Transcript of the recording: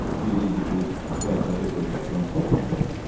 İki il idi ki, o əsəri repertuardan çıxarmamışdılar.